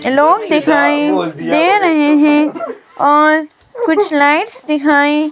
ये लोग दिखाइं दे रहे हैं और कुछ लाइट्स दिखाइं--